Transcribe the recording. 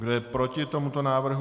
Kdo je proti tomuto návrhu?